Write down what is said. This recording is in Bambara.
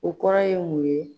O kɔrɔ ye mun ye.